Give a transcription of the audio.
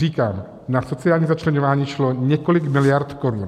Říkám, na sociální začleňování šlo několik miliard korun.